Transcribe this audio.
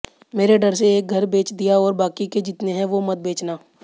मेरे डर से एक घर बेच दिया और बाकी के जितने हैं वो मत बेचना